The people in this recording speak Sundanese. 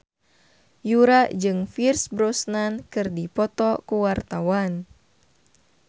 Yura jeung Pierce Brosnan keur dipoto ku wartawan